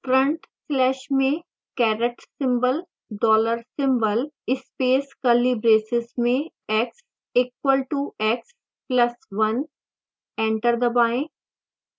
front slash में caret symbol dollar symbol space curly braces में x equal to x plus 1 enter दबाएं